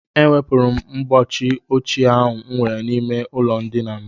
Ewepụrụ m ọgbachi ochie ahụ m nwere n'ime ụlọndina m